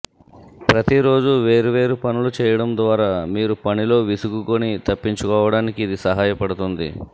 ప్రతిరోజు వేర్వేరు పనులు చేయటం ద్వారా మీరు పనిలో విసుగుని తప్పించుకోవటానికి ఇది సహాయపడుతుంది